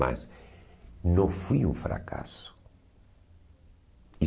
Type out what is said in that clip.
Mas não fui um fracasso.